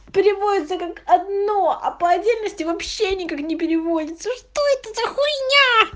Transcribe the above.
переводится как одно а по отдельности вообще никак не переводится что это за хуйня